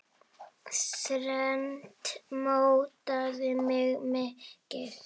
Þrennt mótaði mig mikið.